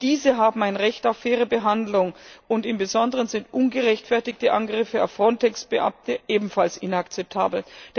Auch diese haben ein Recht auf faire Behandlung, und im Besonderen sind ungerechtfertigte Angriffe auf Frontex Beamte ebenfalls inakzeptabel.